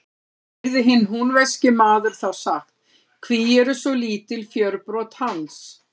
Heyrði hinn húnvetnski maður þá sagt: Hví eru svo lítil fjörbrot hans?